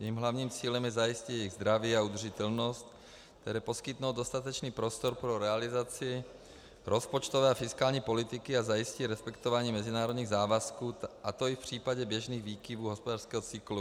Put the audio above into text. Jejím hlavním cílem je zajistit jejich zdraví a udržitelnost, tedy poskytnout dostatečný prostor pro realizaci rozpočtové a fiskální politiky a zajistit respektování mezinárodních závazků, a to i v případě běžných výkyvů hospodářského cyklu.